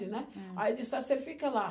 né? Aí ele disse, ó, você fica lá.